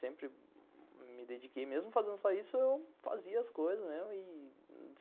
Sempre me dediquei, mesmo fazendo só isso, eu fazia as coisas mesmo.